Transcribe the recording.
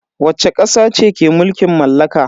Wacce kasa ce ke mulkin mallaka?